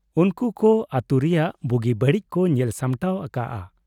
ᱩᱱᱠᱩ ᱠᱚ ᱟᱛᱩ ᱨᱮᱭᱟᱜ ᱵᱩᱜᱤ ᱵᱟᱹᱲᱤᱡ ᱠᱚ ᱧᱮᱞ ᱥᱟᱢᱴᱟᱣ ᱟᱠᱟᱜ ᱟ ᱾